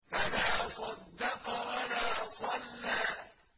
فَلَا صَدَّقَ وَلَا صَلَّىٰ